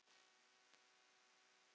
HALLÓ, HALLÓ.